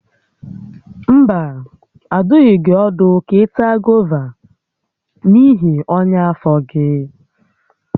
Mba, adụghị gị ọdụ ka ị taa gova n'ihi ọnya afọ gị